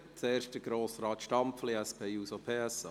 Zuerst Grossrat Stampfli, SP-JUSO-PSA.